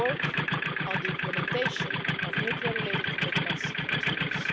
The work on the implementation of nuclear-related commitments continues.